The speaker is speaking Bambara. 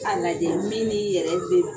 E ka ni lajɛ, min ni yɛrɛ